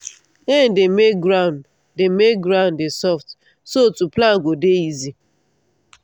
rain dey make ground dey make ground dey soft so to plant go dey easy.